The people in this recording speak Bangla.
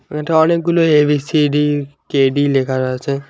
এখানটা অনেকগুলো এবিসিডি কেডি লেখা রয়েছে।